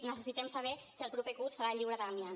necessitem saber si el proper curs serà lliure d’amiant